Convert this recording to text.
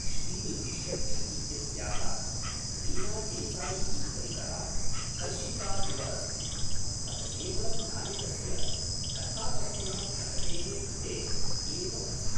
श्रीनिधि शेट्टी इत्यस्याः रीना देसायि इति परितः कर्षिता इव अस्ति, अथ केवलं नायकस्य कथावस्तुनः प्रगतेः कृते एव अस्ति ।